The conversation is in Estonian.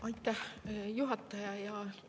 Aitäh, juhataja!